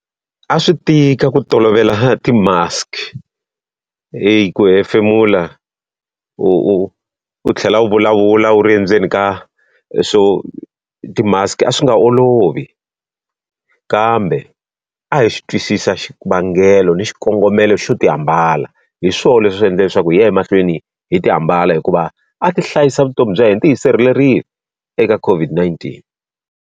A swi tika ku tolovela ti-mask. Hayi ku hefemula u u tlhela u vulavula wu ri endzeni ka ti-mask, a swi nga olovi. Kambe a hi xi twisisa xivangelo ni xikongomelo xo ti ambala, hi swona leswi swi endla leswaku hi ya emahlweni hi ti ambala hikuva a ti hlayisa vutomi bya hina. Ti hi sirhelerile eka COVID-19.